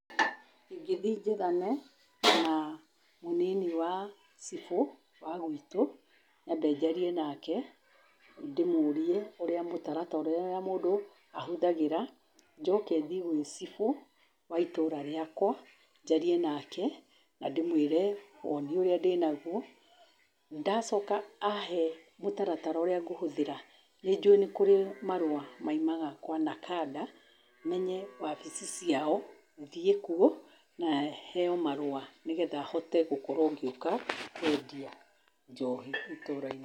Ingĩthiĩ njethane na mũnini wa cibu wa gwitũ, nyambe njarie nake ndĩmũrie ũrĩa mũtaratara ũrĩa mũndũ ahũthagĩra, njoke thiĩ gwĩ cibũ wa itũra rĩakwa, njarie nake na ndĩmũĩre woni ũrĩa ndĩnaguo, ndacoka ahe mũtaratara ũrĩa ngũhũthĩra nĩjũĩ nĩ kũrĩ marũa maimaga kwa NACADA menye wabici ciao, thiĩ kuo na heo marũa nigetha hote gũkorwo ngĩũka kũendia njohi itũra-inĩ.